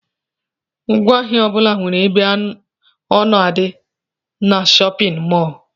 Ngwaahịa ọbula nwere ebe ọ na-adi n'shóppin mol.